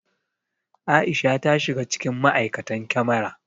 Aisha ta shiga cikin ma'aikatan kyamara